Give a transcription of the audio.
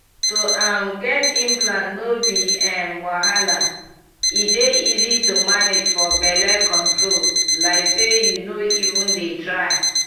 to um get implant no be um wahala e dey easy to manage for belle control like say you no even dey try.